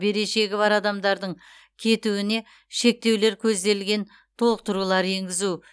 берешегі бар адамдардың кетуіне шектеулер көзделген толықтырулар енгізу